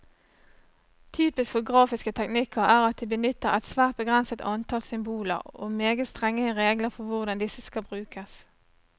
Typisk for grafiske teknikker er at de benytter et svært begrenset antall symboler, og meget strenge regler for hvordan disse skal brukes.